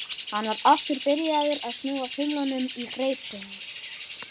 Hann var aftur byrjaður að snúa þumlunum í greip sinni.